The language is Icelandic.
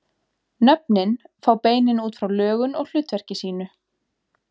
Nöfnin fá beinin út frá lögun og hlutverki sínu.